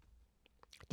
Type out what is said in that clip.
DR1